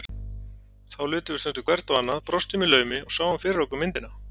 Þá litum við stundum hvert á annað, brostum í laumi og sáum fyrir okkur myndina.